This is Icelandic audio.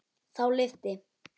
Þá lyfti